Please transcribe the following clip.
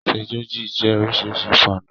Sọ́séjì jẹ́ oríṣi ìpanu.